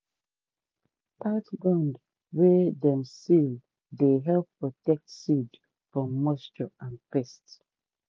tight gourd wey dem seal dey help protect seed from moisture and pest.